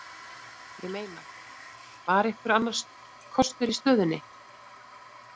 Ég meina, var einhver annar kostur í stöðunni?